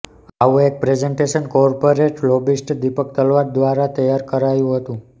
આવું એક presentation corporate lobbyist Deepak Talwar દ્વારા તૈયાર કરાયું હતું